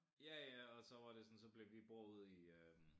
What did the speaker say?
Ja ja og så var det sådan så blev vi bor ude i øh